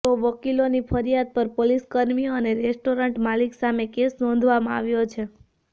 તો વકીલોની ફરિયાદ પર પોલીસકર્મીઓ અને રેસ્ટોરન્ટ માલિક સામે કેસ નોંધવામાં આવ્યો છે